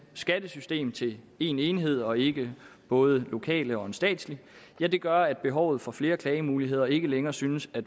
skattesystem til én enhed og ikke både lokale og en statslig gør at behovet for flere klagemuligheder ikke længere synes at